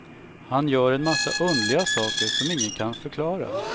Han gör en massa underliga saker som ingen kan förklara.